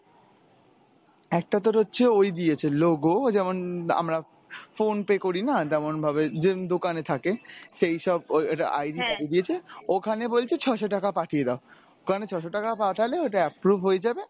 একটা তোর হচ্ছে ঐ দিয়েছে logo যেমন আমরা Phone pay করি না তেমন ভাবে যেমন দোকানে থাকে সেই সব ওই একটা ID দিয়েছে ওখানে বলছে ছয়শ টাকা পাঠিয়ে দাও। ওখানে ছয়শ টাকা পাঠালে ওটা approve হয়ে যাবে ।